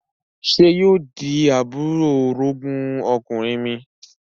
Sé yóò di àbúrò orogún ọkùnrin mi?